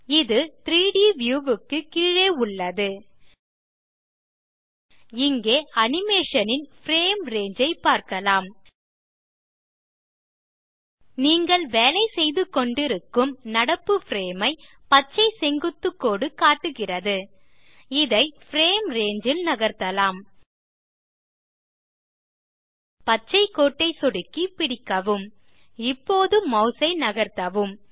இது 3ட் வியூ க்கு கீழே உள்ளது இங்கே அனிமேஷன் ன் பிரேம் ரங்கே ஐ பார்க்கலாம் நீங்கள் வேலைசெய்துகொண்டிருக்கும் நடப்பு பிரேம் ஐ பச்சை செங்குத்துக் கோடு காட்டுகிறது இதை பிரேம் ரங்கே ல் நகர்த்தலாம் பச்சை கோட்டை சொடுக்கி பிடிக்கவும் இப்போது மாஸ் ஐ நகர்த்தவும்